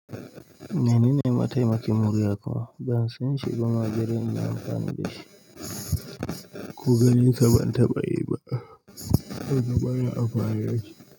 Menene mataimakin murya kuma ban san shi ba ma balle inyi amfani da shi ko ganinsa ban taɓa yi ba. Ban saba da amfanin da shi ba.